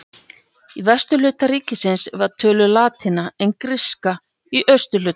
Í vesturhluta ríkisins var töluð latína en gríska í austurhlutanum.